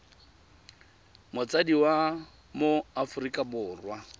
motsadi wa mo aforika borwa